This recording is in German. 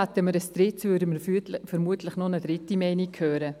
Hätten wir ein drittes, würden wir vermutlich noch eine dritte Meinung hören.